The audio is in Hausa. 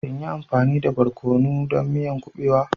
In yi amfani da barkono don miyan kuɓewa?